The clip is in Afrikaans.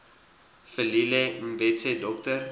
velile mbethe dr